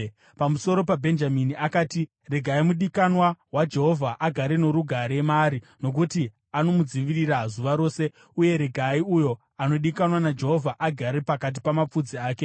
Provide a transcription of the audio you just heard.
Pamusoro paBhenjamini akati: “Regai mudikanwa waJehovha agare norugare maari, nokuti anomudzivirira zuva rose, uye regai uyo anodikanwa naJehovha agare pakati pamapfudzi ake.”